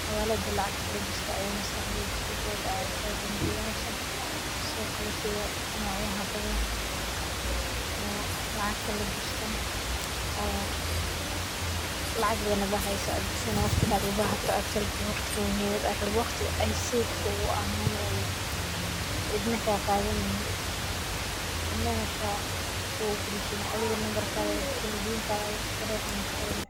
xawalada lacagta lagalishta aya maskaxdeyda kusodaceysa bangiyasha sidokale sida nocyaha badan oo lacagta lagishto oo lacag badan hada hayso aad gishani waqtiga aad u bahata aad kalabixi waqtiga muhimada aad kalabixi waqtigi ay sidi ku ahani ay cidna kaqadaneynin cidna kugu gurshaneynin adiga lumbarkaga aya gashani pinkaga kufuri oona kuxirani.